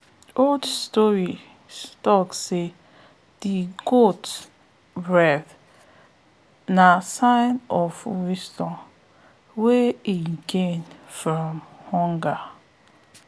old story talk say the quote na sign of wisdom wey again from hunger